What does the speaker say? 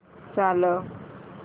चालव